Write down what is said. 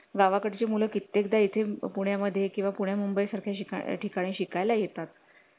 गावाकड ची मुलं कित्येक दा इथे पुण्या मध्ये किंवा पुण मुंबई सारख्या ठिकाणी शिकाय ला येतात